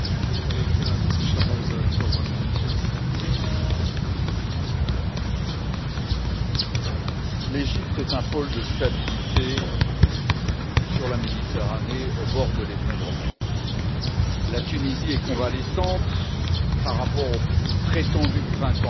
Monsieur le Président, l'Égypte est un pôle de stabilité sur une Méditerranée au bord de l'effondrement. La Tunisie est convalescente par rapport au prétendu Printemps arabe,